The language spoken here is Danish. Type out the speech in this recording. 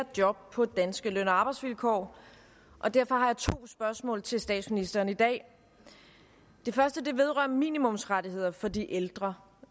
job på danske løn og arbejdsvilkår og derfor har jeg to spørgsmål til statsministeren i dag det første vedrører minimumsrettigheder for de ældre